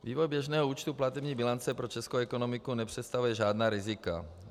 Vývoj běžného účtu platební bilance pro českou ekonomiku nepředstavuje žádná rizika.